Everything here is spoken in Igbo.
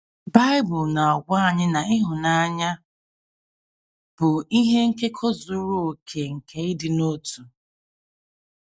Bible na - agwa anyị na “ ịhụnanya ” bụ “ ihe nkekọ zuru okè nke ịdị n’otu. ”